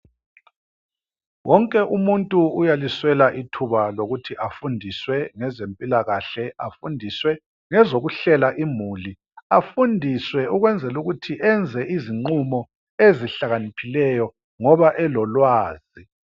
Wonke umuntu uyaliswela ithuba lokuthi afundiswe ngezempilakahle. Afundiswe ngezokuhlela imuli. Afundiswe ukwenzela ukuthi enze izinqumo ezilakaniphileyo ngoba elolwazi.